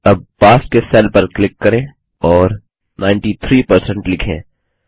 अब पास के सेल पर क्लिक करें और 93 परसेंट लिखें